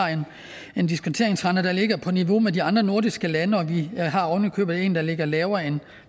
en diskonteringsrente der ligger på niveau med de andre nordiske lande og vi har oven i købet en der ligger lavere